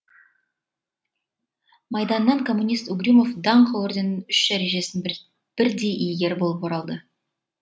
майданнан коммунист угрюмов даңқ орденінің үш дәрежесінің бірдей иегері болып оралды